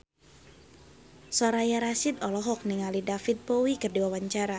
Soraya Rasyid olohok ningali David Bowie keur diwawancara